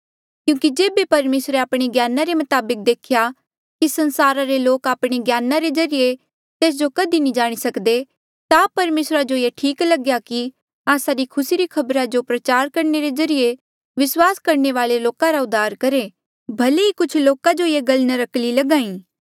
क्यूंकि जेबे परमेसरे आपणे ज्ञाना रे मताबक देखेया कि संसारा रे लोक आपणे ज्ञाना रे ज्रीए तेस जो कधी नी जाणी सकदे ता परमेसरा जो ये ठीक लग्या कि आस्सा री खुसी री खबरा जो प्रचार करणे रे ज्रीए विस्वास करणे वाले लोका रा उद्धार करहे भले ही कुछ लोका जो ये गल नर्क्कली लगाई